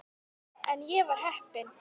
En ég var heppin.